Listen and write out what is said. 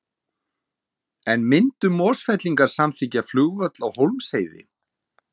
En myndu Mosfellingar samþykkja flugvöll á Hólmsheiði?